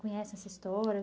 conhecem essa história?